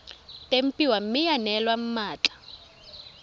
tempiwa mme ya neelwa mmatla